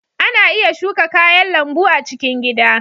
Ana iya shuka kayan lambu a cikin gida.